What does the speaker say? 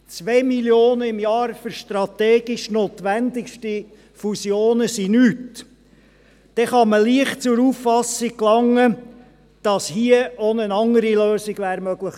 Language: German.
2 Mio. Franken pro Jahr für strategisch notwendige Fusionen sind nichts –, dann kann man leicht zur Auffassung gelangen, dass hier auch eine andere Lösung möglich gewesen wäre.